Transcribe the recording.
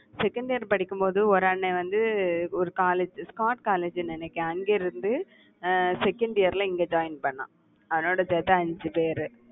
second year படிக்கும் போது ஒரு அண்ணன் வந்து ஒரு college ஸ்காட் காலேஜ்னு நினைக்கேன். அங்கே இருந்து, அஹ் second year ல இங்கே join பண்ணான் அவனோட சேர்ந்து அஞ்சு பேரு